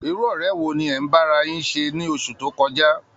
Irú ọ̀rẹ́ wo ni ẹ̀ ń bá ara yín ṣe ní oṣù tó kọjá?